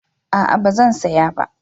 A'a ba zan saya ba